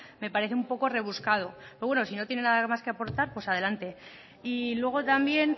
me parece un poco rebuscado pero bueno si no tienen nada más que aportar pues adelante luego también